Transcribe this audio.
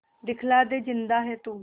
दिखला दे जिंदा है तू